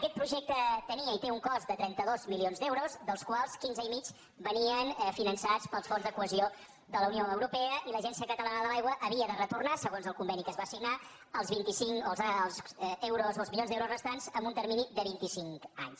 aquest projecte tenia i té un cost de trenta dos milions d’euros dels quals quinze i mig venien finançats pels fons de cohesió de la unió europea i l’agència catalana de l’aigua havia de retornar segons el conveni que es va signar els milions d’euros restants en un termini de vint i cinc anys